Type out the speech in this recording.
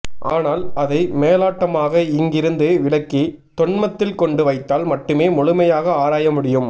ஆனால் அதை மேலோட்டமாக இங்கிருந்து விலக்கி தொன்மத்தில் கொண்டு வைத்தால் மட்டுமே முழுமையாக ஆராய முடியும்